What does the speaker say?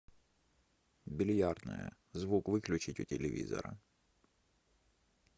бильярдная звук выключить у телевизора